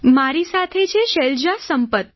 મારી સાથે શૈલજા સંપત